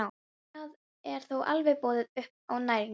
Þar er þó allavega boðið upp á næringu.